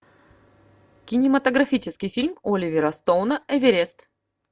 кинематографический фильм оливера стоуна эверест